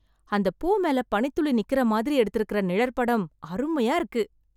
அந்தப் பூ மேல பனித் துளி நிக்கிற மாதிரி எடுத்திருக்க நிழற்படம் அருமையா இருக்கு.